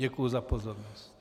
Děkuji za pozornost.